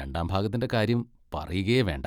രണ്ടാം ഭാഗത്തിൻ്റെ കാര്യം പറയുകയേ വേണ്ട.